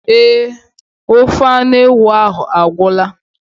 Eé, ofe anụ ewu ahụ agwụla.